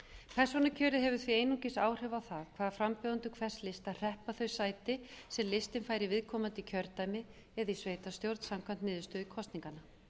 persónukjör hefur því einungis áhrif á það hvað frambjóðendur hvers lista hreppa þau sæti sem listinn fær í viðkomandi kjördæmi eða í sveitarstjórn samkvæmt niðurstöðu kosninganna